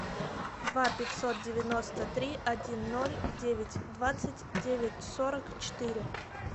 два пятьсот девяносто три один ноль девять двадцать девять сорок четыре